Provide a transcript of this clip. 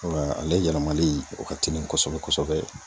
Wa ale yɛlɛmali ,o ka telin kosɛbɛ kosɛbɛ.